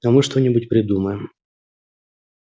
а мы что-нибудь придумаем